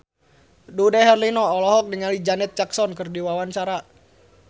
Dude Herlino olohok ningali Janet Jackson keur diwawancara